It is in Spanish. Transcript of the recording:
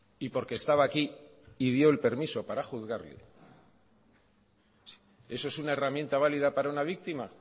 y porque estaba aquí y dio el permiso para juzgarle eso es una herramienta válida para una víctima